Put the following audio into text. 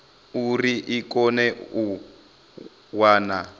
uri i kone u wana